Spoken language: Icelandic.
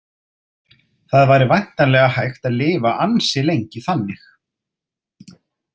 Það væri væntanlega hægt að lifa ansi lengi þannig.